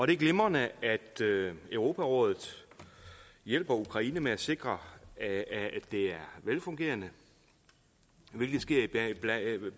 det er glimrende at europarådet hjælper ukraine med at sikre at det er velfungerende hvilket